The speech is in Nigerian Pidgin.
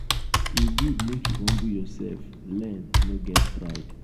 e good make you humble yourself learn no get pride.